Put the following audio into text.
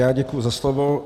Já děkuji za slovo.